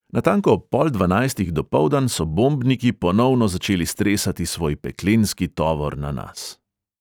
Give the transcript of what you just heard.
Natanko ob pol dvanajstih dopoldan so bombniki ponovno začeli stresati svoj peklenski tovor na nas.